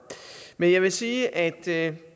men jeg vil sige at jeg